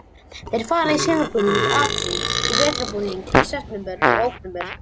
Þeir fara í sumarbúning í apríl og vetrarbúning í september og október.